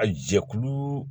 A jɛkulu